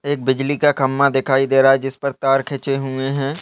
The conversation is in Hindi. एक बिजली का खंबा दिखाई दे रहा हे जिसपर तार खीचे हुए हैं।